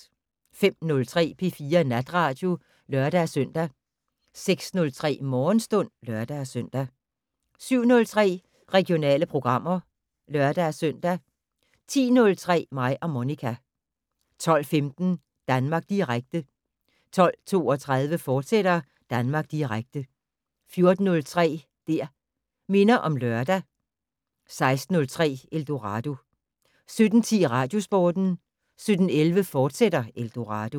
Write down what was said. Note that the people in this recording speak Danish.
05:03: P4 Natradio (lør-søn) 06:03: Morgenstund (lør-søn) 07:03: Regionale programmer (lør-søn) 10:03: Mig og Monica 12:15: Danmark Direkte 12:32: Danmark Direkte, fortsat 14:03: Det' Minder om Lørdag 16:03: Eldorado 17:10: Radiosporten 17:11: Eldorado, fortsat